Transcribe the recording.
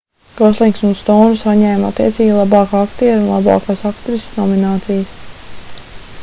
goslings un stouna saņēma attiecīgi labākā aktiera un labākās aktrises nominācijas